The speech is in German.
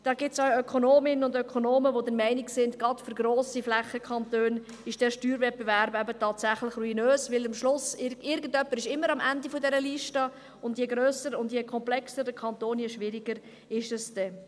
Es gibt auch Ökonominnen und Ökonomen, die der Meinung sind, dass dieser Steuerwettbewerb gerade für grosse Flächenkantone eben tatsächlich ruinös ist, weil am Schluss immer irgendjemand am Ende dieser Liste ist, und je grösser und je komplexer der Kanton ist, desto schwieriger ist es dann.